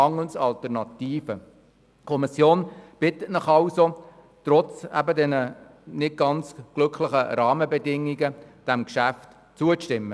Die Kommission bittet Sie, trotz der nicht ganz glücklichen Rahmenbedingungen dem Geschäft zuzustimmen.